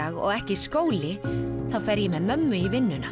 og ekki skóli þá fer ég með mömmu í vinnuna